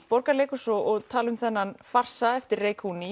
Borgarleikhúsið og tala um þennan farsa eftir